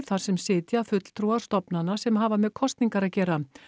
þar sem sitja fulltrúar stofnana sem hafa með kosningar að gera